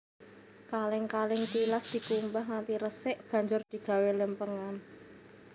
Kalèng kalèng tilas dikumbah nganti resik banjur digawé lèmpèngan